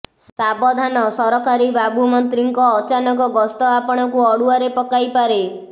ସାବଧାନ ସରକାରୀ ବାବୁ ମନ୍ତ୍ରୀଙ୍କ ଅଚାନକ ଗସ୍ତ ଆପଣଙ୍କୁ ଅଡୁଆରେ ପକାଇପାରେ